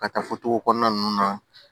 Ka taa fotow kɔnɔna ninnu na